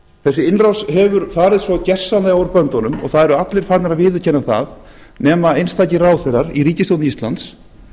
þessi innrás hefur farið svo gersamlega úr böndunum og það eru allir farnir að viðurkenna það nema einstakir ráðherrar í ríkisstjórn íslands